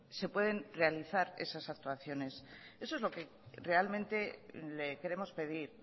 se pueden realizar esas actuaciones eso es lo que realmente le queremos pedir